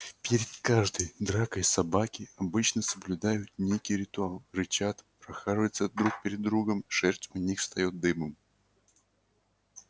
перед каждой дракой собаки обычно соблюдают некий ритуал рычат прохаживаются друг перед другом шерсть у них встаёт дыбом